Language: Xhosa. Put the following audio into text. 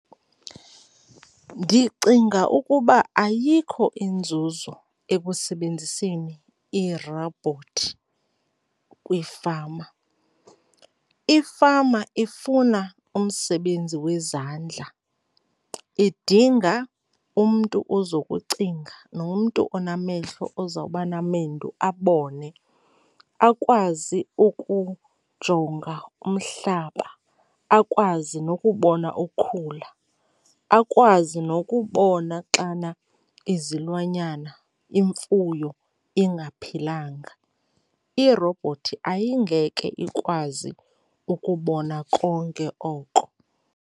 Ndicinga ukuba ayikho inzuzo ekusebenziseni iirobhothi kwiifama. Ifama ifuna umsebenzi wezandla, idinga umntu ozokucinga nomntu onamehlo ozawuba namendu abone, akwazi ukujonga umhlaba, akwazi nokubona ukhula, akwazi nokubona xana izilwanyana, imfuyo, ingaphilanga. Irobhothi ayidingeke ikwazi ukubona konke oko.